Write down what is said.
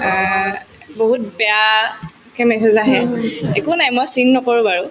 অ, বহুত বেয়াকে message আহে একো নাই মই seen নকৰো বাৰু